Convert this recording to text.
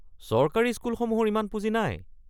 চৰকাৰী স্কুলসমূহৰ ইমান পুঁজি নাই।